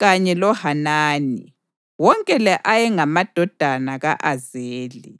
kanye loHanani. Wonke la ayengamadodana ka-Azeli.